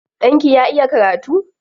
Ɗanki ya iya karatu?